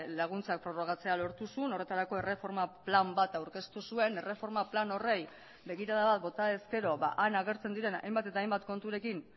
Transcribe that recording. laguntzak prorrogatzea lortu zuen horretarako erreforma plan bat aurkeztu zuen erreforma plan horri begirada bat bota ezkero han agertzen diren hainbat eta hainbat konturekin